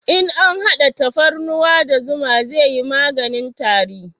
In an hada tafarnuwa da zuma zai yi maganin tari